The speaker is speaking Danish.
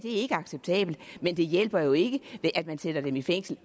er ikke acceptabelt men det hjælper jo ikke at man sender dem i fængsel